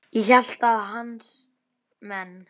Ég hélt að hans menn.